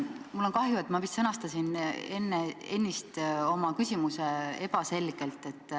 Mul on kahju, ma vist sõnastasin ennist oma küsimuse ebaselgelt.